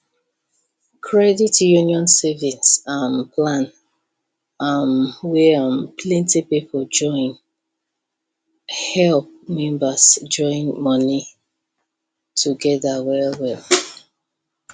credit union saving um plan um wey um plenty people join help members join money together well well